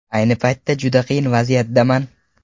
Ayni paytda juda qiyin vaziyatdaman.